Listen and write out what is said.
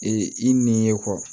Ee i n'i ye